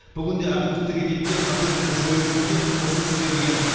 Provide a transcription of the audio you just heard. бүгінде әкімдіктерге кеткен қателікті жою жөнінде ұсыныс берілген